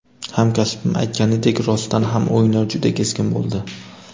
Hamkasbim aytganidek, rostdan ham o‘yinlar juda keskin bo‘ldi.